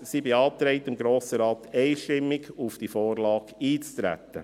Sie beantragt dem Grossen Rat einstimmig, auf die Vorlage einzutreten.